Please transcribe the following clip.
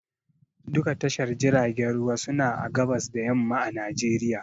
Duka tashar jiragen ruwa suna a gabas da yamma a Najeriya